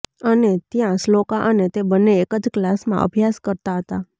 અને ત્યાં શ્લોકા અને તે બન્ને એક જ ક્લાસમાં અભ્યાસ કરતા હતા